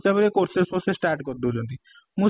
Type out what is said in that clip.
ତାପରେ courses start କରି ଦଉଛନ୍ତି